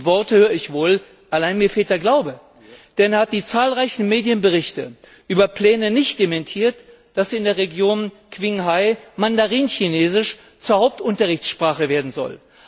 Die Worte höre ich wohl, allein mir fehlt der Glaube. Denn er hat die zahlreichen Medienberichte über Pläne nicht dementiert, dass in der Region Quinghai Mandarinchinesisch zur Hauptunterrichtssprache werden soll.